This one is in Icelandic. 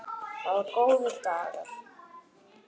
Það voru góðir dagar.